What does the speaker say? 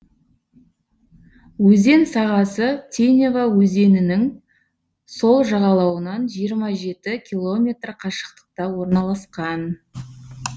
өзен сағасы тинева өзенінің сол жағалауынан жиырма жеті километр қашықтықта орналасқан